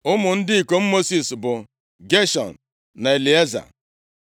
Ụmụ ndị ikom Mosis bụ, Geshọm na Elieza.